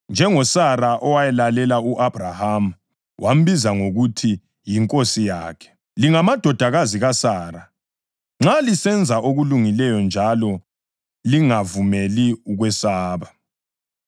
njengoSara owalalela u-Abhrahama wambiza ngokuthi yinkosi yakhe. Lingamadodakazi kaSara nxa lisenza okulungileyo njalo lingavumeli ukwesaba.